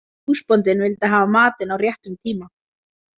Húsbóndinn vildi hafa matinn á réttum tíma.